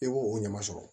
I b'o o ɲama sɔrɔ